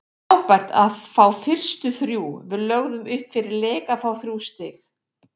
Frábært að fá fyrstu þrjú, við lögðum upp fyrir leik að fá þrjú stig.